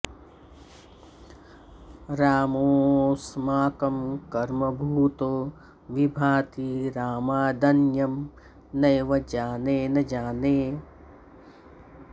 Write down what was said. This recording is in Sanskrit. रामोऽस्माकं कर्मभूतो विभाति रामादन्यं नैव जाने न जाने